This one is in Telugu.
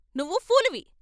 నువ్వు పూలువి.